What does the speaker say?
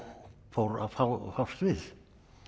fór að fást við